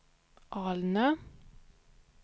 Alnö